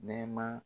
Nɛɛma